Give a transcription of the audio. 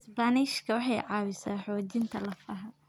Isbaanishka waxay caawisaa xoojinta lafaha.